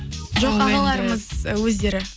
жоқ ағаларымыз өздері